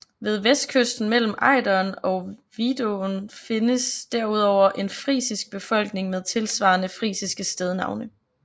Ved vestkysten mellem Ejderen og Vidåen findes derudover en frisisk befolkning med tilsvarende frisiske stednavne